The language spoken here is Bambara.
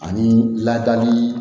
Ani ladali